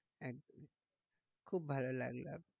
একদম খুব ভালো লাগলো।